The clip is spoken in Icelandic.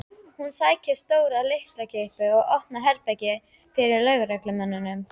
Hún sækir stóra lyklakippu og opnar herbergið fyrir lögreglumönnunum.